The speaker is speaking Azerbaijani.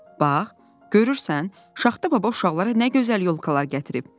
"Bax, görürsən, Şaxta baba uşaqlara nə gözəl yolkalar gətirib?"